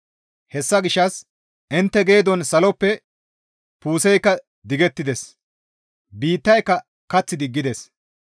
Hessa gishshas intte geedon saloppe puuseykka digettides; biittayka kath diggides.